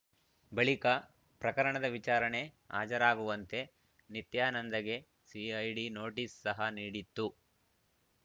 ಬಳಿಕ ಪ್ರಕರಣದ ವಿಚಾರಣೆ ಹಾಜರಾಗುವಂತೆ ನಿತ್ಯಾನಂದಗೆ ಸಿಐಡಿ ನೋಟಿಸ್‌ ಸಹ ನೀಡಿತ್ತು